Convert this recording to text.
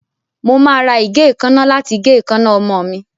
Mo máa ra ìgé èékánná láti gé èékánná ọmọ mi.